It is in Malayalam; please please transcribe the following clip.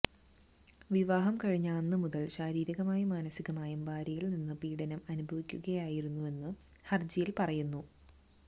വിവാഹം കഴിഞ്ഞ അന്ന് മുതല് ശാരീരികമായും മാനസികമായും ഭാര്യയില് നിന്ന് പീഡനം അനുഭവിക്കുകയായിരുന്നെന്ന് ഹര്ജിയില് പറയുന്നു